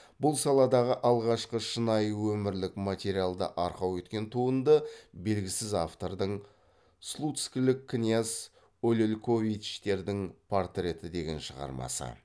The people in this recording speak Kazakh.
бұл саладағы алғашқы шынайы өмірлік материалды арқау еткен туынды белгісіз автордың слуцкілік князь олельковичтердің портреті деген шығармасы